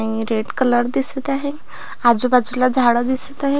अ red colour दिसत आहे आजूबाजूला झाड दिसत आहेत.